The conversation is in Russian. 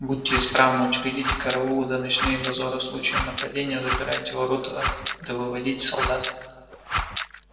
будьте исправны учредите караулы да ночные дозоры в случае нападения запирайте ворота да выводите солдат